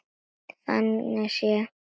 Þannig séð.